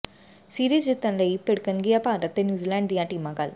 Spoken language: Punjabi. ਸੀਰੀਜ਼ ਜਿੱਤਣ ਲਈ ਭਿੜਣਗੀਆਂ ਭਾਰਤ ਤੇ ਨਿਊਜ਼ੀਲੈਂਡ ਦੀਆਂ ਟੀਮਾਂ ਕੱਲ੍ਹ